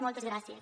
moltes gràcies